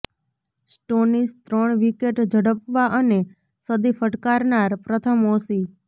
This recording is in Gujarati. સ્ટોનિસ ત્રણ વિકેટ ઝડપવા અને સદી ફટકારનાર પ્રથમ ઓસી